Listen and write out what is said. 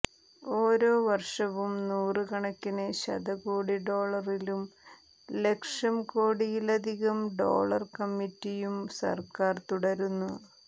ഓരോ വർഷവും നൂറുകണക്കിന് ശതകോടി ഡോളറിലും ലക്ഷം കോടിയിലധികം ഡോളർ കമ്മിറ്റിയും സർക്കാർ തുടരുന്നു